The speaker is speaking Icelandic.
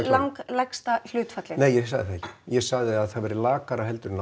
langlægsta hlutfallið nei ég sagði það ekki ég sagði að það væri lakara en